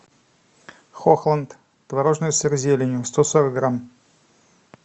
хохланд творожный сыр с зеленью сто сорок грамм